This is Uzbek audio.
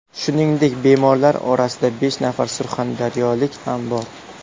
Shuningdek, bemorlar orasida besh nafar surxondaryolik ham bor.